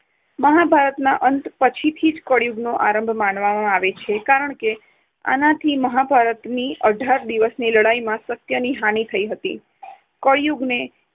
મહાભારતના અંત પછીથી કળિયુગનો આરંભ માનવામાં આવે છે. કારણકે આનાથી મહાભારતની અઢાર દિવસની લડાઈમાં સત્યની હાનિ થઈ હતી. કળિયુગને